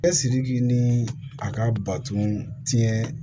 Bɛ siriki ni a ka baton tiɲɛn